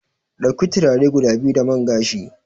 Dauki turare guda biyu da man gashi.